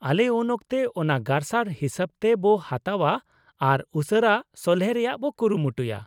ᱟᱞᱮ ᱩᱱᱚᱠᱛᱮ ᱚᱱᱟ ᱜᱟᱨᱥᱟᱨ ᱦᱤᱥᱟᱹᱵᱛᱮ ᱵᱚ ᱦᱟᱛᱟᱣᱼᱟ ᱟᱨ ᱩᱥᱟᱹᱨᱟ ᱥᱚᱞᱦᱮ ᱨᱮᱭᱟᱜ ᱵᱚ ᱠᱩᱨᱩᱢᱩᱴᱩᱭᱟ ᱾